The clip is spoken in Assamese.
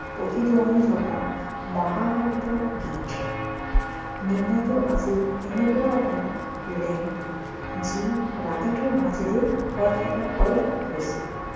প্ৰতিধ্বনি থকা মহাকাব্যৰ গীত আছিল এনেকুৱা এটা lamp যি ৰাতিটোৰ মাজেৰে খৰখেদাকৈ গৈছিল